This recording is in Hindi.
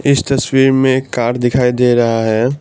इस तस्वीर में एक कार दिखाई दे रहा है।